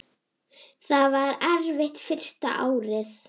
Það var erfitt fyrsta árið.